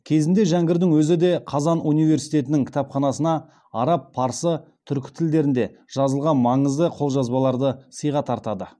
кезінде жәңгірдің өзі де қазан университетінің кітапханасына араб парсы түркі тілдерінде жазылған маңызды қолжазбаларды сыйға тартады